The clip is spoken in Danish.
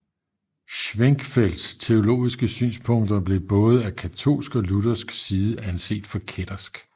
Schwenckfelds teologiske synspunkter blev både af katolsk og luthersk side anset for kættersk